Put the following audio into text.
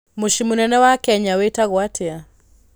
Mũciĩ mũnene wa Kenya wĩtagwo atĩa?